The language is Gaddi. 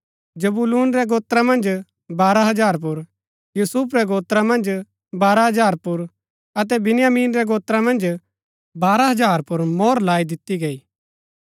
जबूलून रै गोत्रा मन्ज बारह हजार पुर यूसुफ रै गोत्रा मन्ज बारह हजार पुर अतै बिन्यामीन रै गोत्रा मन्ज बारह हजार पुर मोहर लाई दिती गई